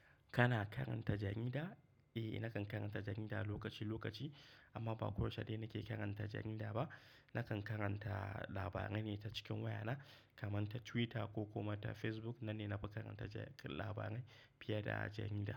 Kana karanta jarida? Eh, nakan karanta jarida lokaci lokaci amma ba koyaushe dai nake karanta jarida ba. Nakan karanta labarai ne ta cikin wayana kamar ta Twitter ko kuma ta Facebook. Nan ne na fi karanta labarai fiye da a jarida.